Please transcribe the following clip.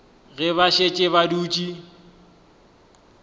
ge ba šetše ba dutše